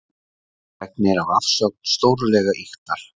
Fregnir af afsögn stórlega ýktar